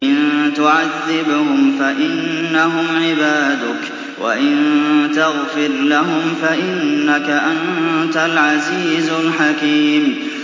إِن تُعَذِّبْهُمْ فَإِنَّهُمْ عِبَادُكَ ۖ وَإِن تَغْفِرْ لَهُمْ فَإِنَّكَ أَنتَ الْعَزِيزُ الْحَكِيمُ